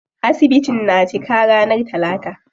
Asibitin na cika ranar talata.